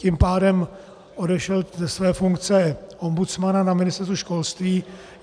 Tím pádem odešel ze své funkce ombudsmana na Ministerstvu školství.